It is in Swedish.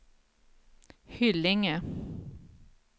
Hyllinge